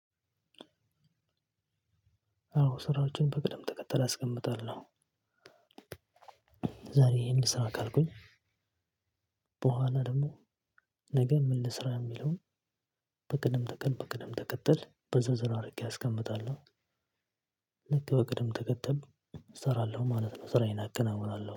አዎ ስራዎችን በቅደም ተከተል አስቀምጣለሁ። ዛሬ ይሄን ልስራ ካልኩኝ በኋላ ደግሞ ነገ ምን ልስራ የሚለውን? በቅድም ተከ በቅደም ተከተል በዝርዝር አድርጌ አስቀምጣለሁ። ልክ በቅድም ተከተል እሰራለሁ ማለት ነው ስራዬን አከናውናለሁ